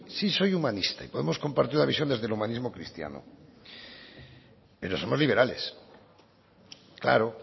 sí soy humanista y podemos compartir la visión desde el humanismo cristiano pero somos liberales claro